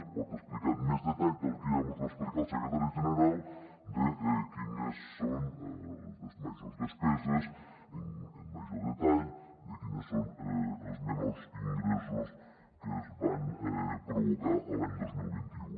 es pot explicar amb més detall del que ja mos va expli·car el secretari general quines són les majors despeses amb major detall quins són els menors ingressos que es van provocar l’any dos mil vint u